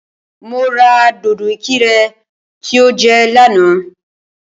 Mo ra dòdò ìkirè tí o jẹ lánàá